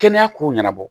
Kɛnɛya ko ɲɛnabɔ